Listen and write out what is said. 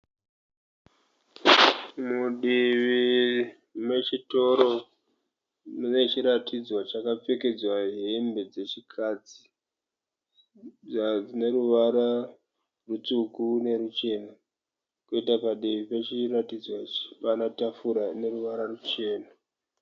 Mudivi mechitoro mune chiratidzwa chakapfekedzwa hembe dzechikadzi . Dzine ruvara rutsvuku neruchena. Kwoita padivi pechiratidzwa ichi pane tafura ine ruvara ruchena.